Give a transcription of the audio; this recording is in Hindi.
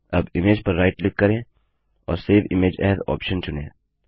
अब इमेज पर राइट क्लिक करें और सेव इमेज एएस ऑप्शन चुनें